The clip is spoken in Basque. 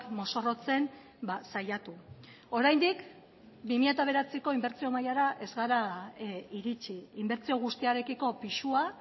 mozorrotzen saiatu oraindik bi mila bederatzirako inbertsio mailara ez gara iritsi inbertsio guztiarekiko pisua